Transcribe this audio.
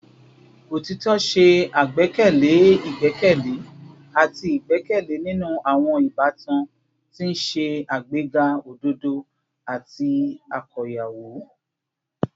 Otitọ ṣe agbekele igbẹkẹle ati igbẹkẹle ninu awọn ibatan, ti n ṣe agbega ododo ati akoyawo